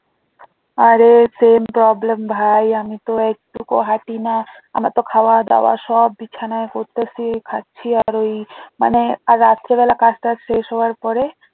আরে same problem ভাই আমিতো একটুকো হাঁটিনা আমারতো খাওয়া দাওয়া সব বিছানায় করতাসি খাচ্ছি আর ওই মানে আর রাত্রেবেলা কাজটাজ শেষ হওয়ার পরে